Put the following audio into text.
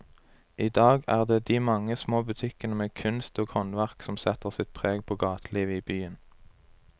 I dag er det de mange små butikkene med kunst og håndverk som setter sitt preg på gatelivet i byen.